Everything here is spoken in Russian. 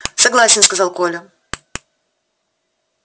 согласен сказал коля